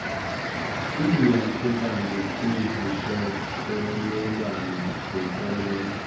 iiyantlukwano kwizixokelelwano zenkolelo